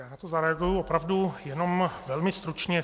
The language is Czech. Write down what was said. Já na to zareaguji opravdu jenom velmi stručně.